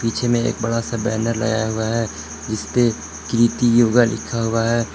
पीछे में एक बड़ा सा बैनर लगाया हुआ है जिसपे कृति योगा लिखा हुआ है।